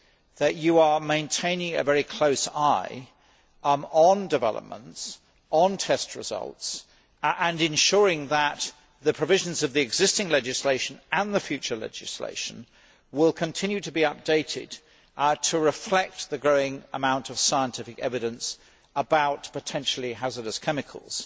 that you are keeping a very close eye on developments, on test results, and ensuring that the provisions of the existing legislation and the future legislation will continue to be updated to reflect the growing amount of scientific evidence about potentially hazardous chemicals.